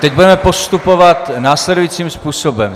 Teď budeme postupovat následujícím způsobem.